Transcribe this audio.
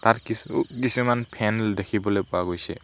ইয়াত কিছু কিছুমান ফেন দেখিবলৈ পোৱা গৈছে।